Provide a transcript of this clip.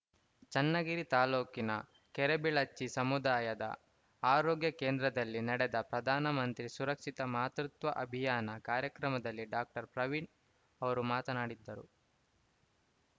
ಚನ್ನಗಿರಿ ತಾಲೂಕಿನ ಕೆರೆಬಿಳಚಿ ಸಮುದಾಯದ ಆರೋಗ್ಯ ಕೇಂದ್ರದಲ್ಲಿ ನಡೆದ ಪ್ರಧಾನ ಮಂತ್ರಿ ಸುರಕ್ಷಿತ ಮಾತೃತ್ವ ಅಭಿಯಾನ ಕಾರ್ಯಕ್ರಮದಲ್ಲಿ ಡಾಕ್ಟರ್ ಪ್ರವೀಣ್‌ ಅವರು ಮಾತನಾಡಿದ್ದರು